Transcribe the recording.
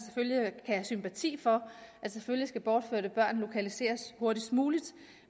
kan have sympati for at selvfølgelig skal bortførte børn lokaliseres hurtigst muligt